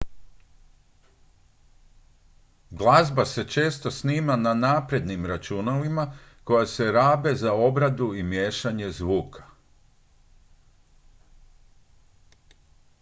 glazba se često snima na naprednim računalima koja se rabe za obradu i miješanje zvuka